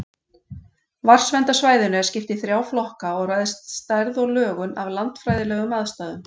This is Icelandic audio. Vatnsverndarsvæðinu er skipt í þrjá flokka og ræðst stærð og lögun af landfræðilegum aðstæðum.